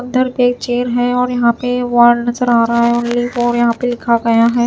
उधर पे एक चेयर है और यहाँ पे वॉल नजर आ रहा है और ये और यहाँ पे लिखा गया हैं।